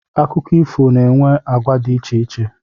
Akụkọ ifo na-enwe agwa di icheiche